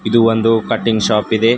ಇದು ಒಂದು cutting shop ಇದೆ.